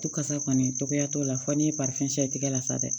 Tu kasa kɔni tɔgɔya t'o la fɔ ni tigɛ la sa dɛ